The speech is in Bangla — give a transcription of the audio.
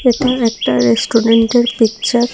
এটা একটা রেস্টুরেন্টের পিকচার ।